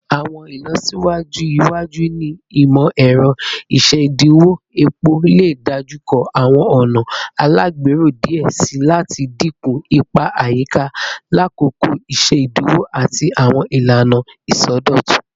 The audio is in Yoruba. Awọn ilọsiwaju iwaju ni imọ-ẹrọ isediwon epo le dojukọ awọn ọna alagbero diẹ sii lati dinku ipa ayika lakoko isediwon ati awọn ilana isọdọtun